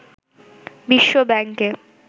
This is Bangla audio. বিশ্ব ব্যাংকে